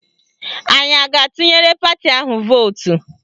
Anyị a ga-atụnyere pati ahụ vootu?